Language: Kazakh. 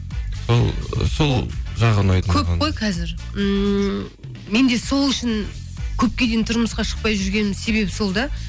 сол ы сол жағы ұнайды маған көп қой қазір ммм мен де сол үшін көпке дейін тұрмысқа шықпай жүргенім себебі сол да